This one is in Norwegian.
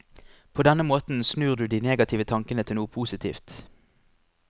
På denne måten snur du de negative tankene til noe positivt.